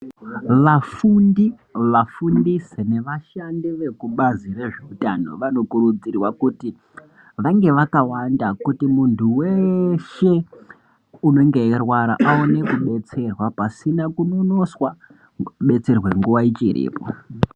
Vafundi, vafundisi nevashandi vekubazi rezveutano, vanokurudzirwa kuti vange vakawanda, kuti muntu weeeshe, unenge eirwara, aone kudetserwa, pasina kunonoswa kudetserwe nguwa ichiripo.